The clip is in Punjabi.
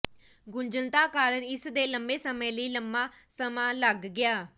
ਗੁੰਝਲਤਾ ਕਾਰਨ ਇਸ ਦੇ ਲੰਬੇ ਸਮੇਂ ਲਈ ਲੰਮਾ ਸਮਾਂ ਲੱਗ ਗਿਆ